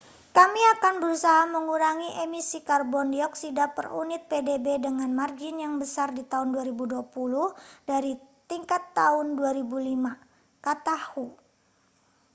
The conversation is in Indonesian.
kami akan berusaha mengurangi emisi karbon dioksida per unit pdb dengan margin yang besar di tahun 2020 dari tingkat tahun 2005 kata hu